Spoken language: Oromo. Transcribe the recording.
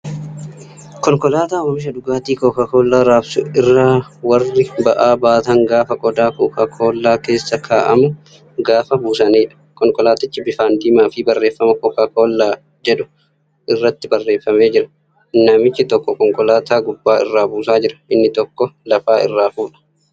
Konkolaataa Omiisha dhugaatii Kookaa Kollaa raabsuu irraa warri ba'aa baatan gaafa qodaa Kookaa Koollaan keessa kaa'amu gaafa buusanidha. Konkolaatichi bifaan diimaa fi barreeffama "CocaCola" jedhu irratti barreefamee jira. Namichi tokko konkolaataa gubbaa irraa buusaa jira, inni tokko lafaa irraa fuudha.